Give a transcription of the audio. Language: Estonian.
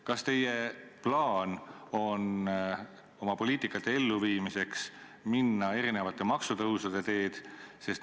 Kas teie plaan on minna oma poliitika elluviimiseks mitmesuguste maksutõusude teed?